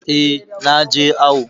Eh, naje awu